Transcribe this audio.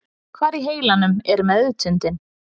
Hvar í heilanum er meðvitundin?